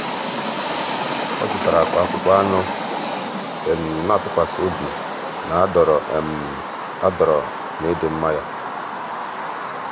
ọ́ zụ̀tárà ákpá ákpụ́kpọ́ ánụ́ nà-átụ́kwàsị́ óbi na-adọ́rọ́ adọ́rọ́ na ị́dị́ mma yá.